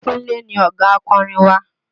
Kúnlé ni ọ̀gá akorin wa